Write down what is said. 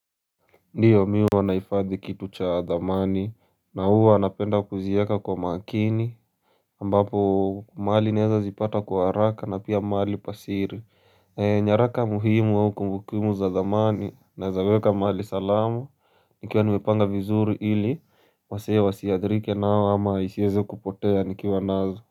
Ndiyo mimi huwa nahifadhi kitu cha dhamani na huwa napenda kuzieka kwa makini ambapo mahali naeza zipata kwa haraka na pia mahali pa siri nyaraka muhimu au kumbukumbu za dhamani naezaweka mahali salama nikiwa nimepanga vizuri ili wasee wasiadhirike nayo ama isiweze kupotea nikiwa nazo.